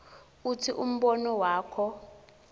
utsini umbono wakho